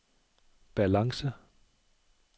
balance